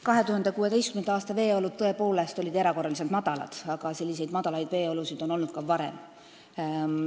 2016. aastal oli veetase tõepoolest erakorraliselt madal, aga selliseid veeolusid on olnud ka varem.